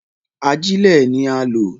Agílẹ̀ ni a lọ̀